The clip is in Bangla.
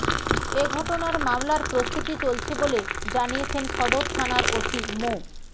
এ ঘটনার মামলার প্রস্তুতি চলছে বলে জানিয়েছেন সদর থানার ওসি মো